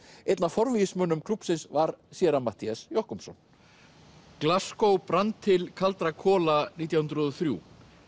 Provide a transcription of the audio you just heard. einn af forvígismönnum klúbbsins var séra Matthías Jochumsson brann til kaldra kola nítján hundruð og þrjú